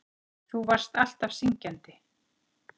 Þú varst alltaf syngjandi.